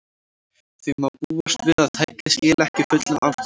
Þó má búast við að tækið skili ekki fullum afköstum.